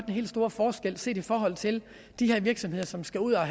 helt store forskel set i forhold til de her virksomheder som skal ud og